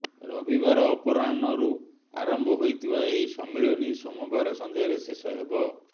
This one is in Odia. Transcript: ରବିବାର ଅପରାହ୍ଣରୁ ଆରମ୍ଭ ହୋଇଥିବା ଏହି ସମ୍ମିଳନୀ ସୋମବାର ସଂଧ୍ୟାରେ ଶେଷ ହେବ